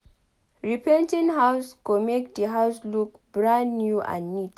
repainting house go make the house look brand new and neat